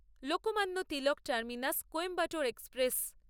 Lokmanya Tilak terminus Coimbatore express